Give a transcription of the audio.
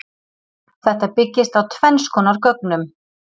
Þetta byggist á tvenns konar gögnum.